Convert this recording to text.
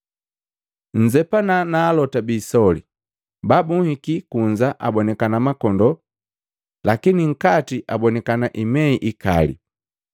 “Nnzepana na alota biisoli. Babunhiki kunza abonikana makondoo, lakini nkati abonikana imei ikali.